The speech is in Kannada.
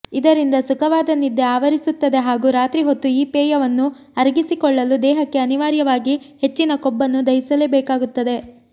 ಇದರಿಂದ ಸುಖವಾದ ನಿದ್ದೆ ಆವರಿಸುತ್ತದೆ ಹಾಗೂ ರಾತ್ರಿ ಹೊತ್ತು ಈ ಪೇಯವನ್ನು ಅರಗಿಸಿಕೊಳ್ಳಲು ದೇಹಕ್ಕೆ ಅನಿವಾರ್ಯವಾಗಿ ಹೆಚ್ಚಿನ ಕೊಬ್ಬನ್ನು ದಹಿಸಲೇಬೇಕಾಗುತ್ತದೆ